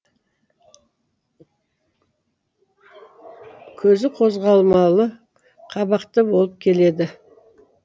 көзі қозғалмалы қабақты болып келеді